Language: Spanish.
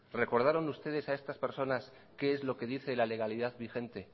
recordaron ustedes a estas personas qué es lo que dice la legalidad vigente